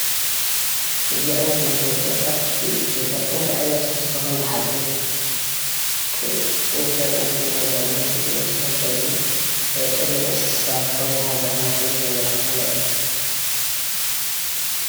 እዚ ዓይነት መታወቅያ ኣብቲ ገዛ እንታይ ዓይነት ትሕዝቶ ከም ዝሓዘ ንምፍላጥ ንጥቀመሉ ኮይኑ እዚ መታወቅያ እዙይ ቀለብ እንስሳ ከም ከም ዝሓዘ ከም ምኳኑ ዘመላክተና እዩ፡፡